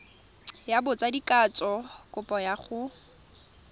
ya botsadikatsho kopo ya go